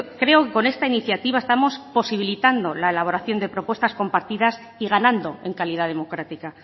creo que con esta iniciativa estamos posibilitando la elaboración de propuestas compartidas y ganando en calidad democrática